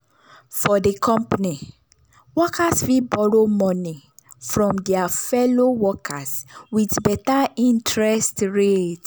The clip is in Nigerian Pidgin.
for di company workers fit borrow money from their fellow workers with better interest rate.